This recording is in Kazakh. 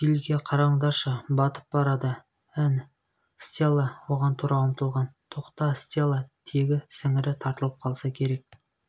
филге қараңдаршы батып барады ән стелла оған тұра ұмтылған тоқта стелла тегі сіңірі тартылып қалса керек